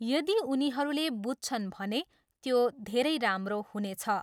यदि उनीहरूले बुझछन् भने त्यो धेरै राम्रो हुनेछ।